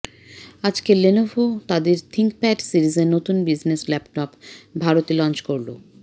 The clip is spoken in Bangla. আজকে লেনোভো তাদের থিঙ্কপ্যড সিরিজের নতুন বিজনেস ল্যাপটপ ভারতে লঞ্চ করল